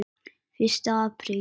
Fyrsta apríl.